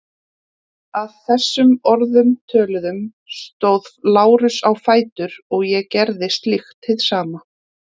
Að þessum orðum töluðum stóð Lárus á fætur og ég gerði slíkt hið sama.